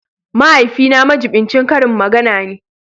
Mahaifina majibincin karin magana ne